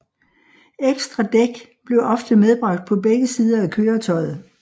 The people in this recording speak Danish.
Ekstra dæk blev ofte medbragt på begge sider af køretøjet